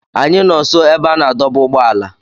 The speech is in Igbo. Anyị nọ nso ebe a na-adọba ụgbọala.